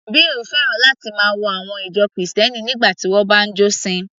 Bill fẹ́ràn láti máa wo àwọn ìjọ Kristẹni nígbà tí wọ́n bá ń jọ́sìn